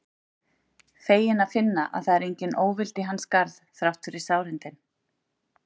Feginn að finna að það er engin óvild í hans garð þrátt fyrir sárindin.